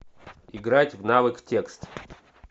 играть в навык текст